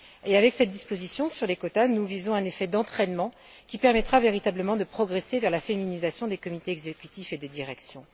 Avec cette disposition sur les quotas, nous visons un effet d'entraînement, qui permettra véritablement de progresser vers la féminisation des comités exécutifs et des directions.